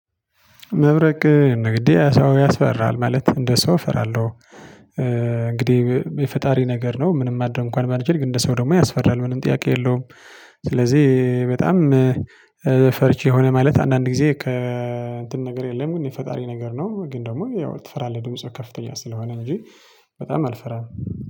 መብረቅ ንግዴ ሰው ያስፈራል ማለት እንደ ሰው እፈራለሁ። እንግዲህ የፈጣሪ ነገር ነው ምንም ማድረግ እንኳን ባልችል ግን እንደ ሰው ደግሞ ያስፈራል ምንም ጥያቄ የለውም። ስለዚህ በጣም ፈርቼ የሆነ ማለት አንዳንድ ጊዜ ከእንትን ነገር የለም ግን የፈጣሪ ነገር ነው ግን ደግሞ ያው ትፈራለህ ድምፁ ከፍተኛ ስለሆነ እንጂ። በጣም አልፈራም